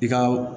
I ka